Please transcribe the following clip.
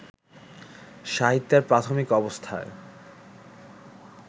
সাহিত্যের প্রাথমিক অবস্থায়